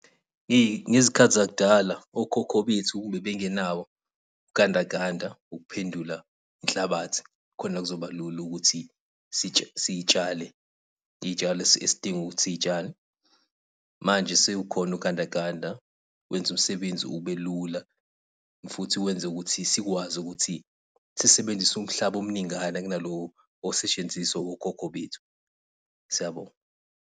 Ey, ngezikhathi zakudala, okhokho bethu bebengenawo ugandaganda ukuphendula inhlabathi khona kuzoba lula ukuthi sitsale, iytshalo esidinga ukuthi siy'tshale. Manje sewukhona ugandaganda, wenza umsebenzi ube lula, futhi wenza ukuthi sikwazi ukuthi sisebenzise umhlaba omningana kuna lo osetshenziswa okhokho bethu. Siyabonga.